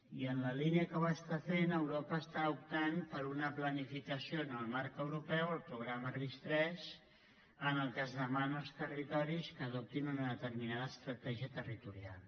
i en la línia que ho està fent europa està optant per una planificació en el marc europeu el programa ris3 en què es demana als territoris que adoptin una determinada estratègia territorial